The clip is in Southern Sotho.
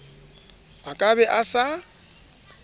a ka be a sa